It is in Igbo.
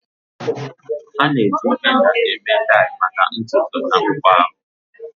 A na-eji henna eme dai maka ntutu na akpụkpọ ahụ.